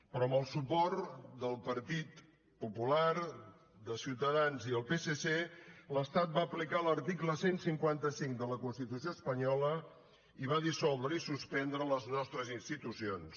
però amb el suport del partit popular de ciutadans i el psc l’estat va aplicar l’article cent i cinquanta cinc de la constitució espanyola i va dissoldre i suspendre les nostres institucions